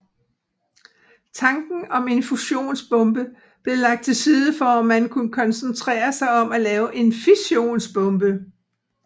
Tanken om en fusionsbombe blev lagt til side for at man kunne koncentrere sig om at lave en fissionsbombe